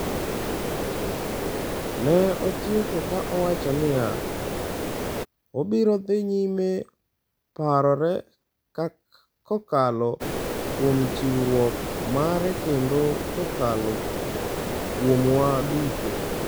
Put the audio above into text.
Ne otieko ka owacho niya: “Obiro dhi nyime parore kokalo kuom chiwruok mare kendo kokalo kuomwa duto.”